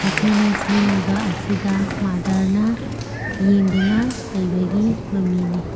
ꯃꯈꯣꯏꯅ ꯁꯦꯝꯃꯤꯕ ꯑꯁꯤꯗ ꯃꯥꯗ꯭ꯔꯅ ꯌꯦꯡꯗꯨꯅ ꯂꯩꯕꯒꯤ ꯃꯃꯤꯅꯤ꯫